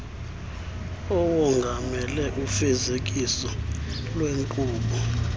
awongamele ufezekiso lweenkqubo